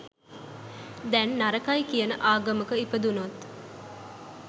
දැන් නරකයි කියන ආගමක ඉපදුනොත්